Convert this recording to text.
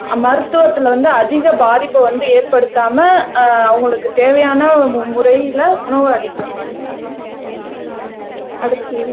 மருத்துவத்தில வந்து அதிக பாதிப்பை வந்து ஏற்படுத்தாம அஹ் அவங்களுக்குத் தேவையான முறையிலே உணவு அளிக்கணும் அடுத்து